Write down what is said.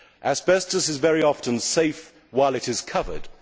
Asbestos is very often safe while it is covered.